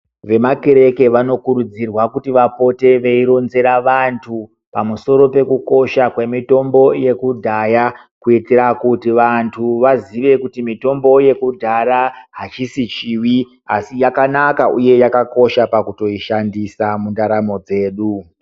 Vemakere vanokurudzirwa kuti vapote veironzera vantu pamusoro pekukosha kwemitombo yekudyaya kuitira kuti vantu vazive kuti mitombo yekudya haisi chivi asi yakanaka uye yakakosha pakutoyishandisa mundaramo dzedu.